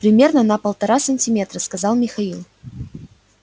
примерно на полтора сантиметра сказал михаил